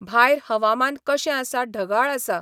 भायर हवामान कशें आसा ढगाळ आसा